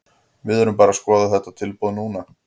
Við erum bara að skoða þetta tilboð núna.